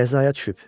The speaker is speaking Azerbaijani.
Qəzaya düşüb.